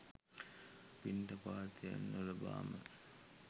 පිණ්ඩපාතය නොලබාම